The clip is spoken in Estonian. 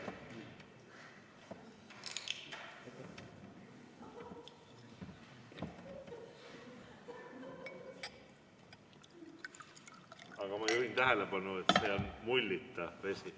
Aga ma juhin tähelepanu, et see on mullita vesi.